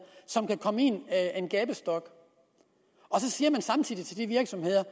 som kan komme i en gabestok så siger man samtidig til de virksomheder